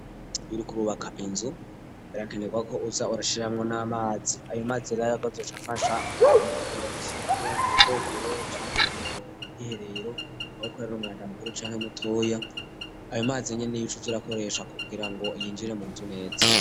Iyo uriko urubaka inzu birakenegwako uza urashiramwo n'amazi ayo mazi rero yakoze azoca afasha mu kugira isuku mu bwogero canke mu bwiherero aho ukorera umwanda mukuru canke mutoya ayo mazinyene niyo ucuza urakoresha kugirango yinjire munzu neza.